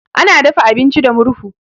Ana dafa abinci da murhu.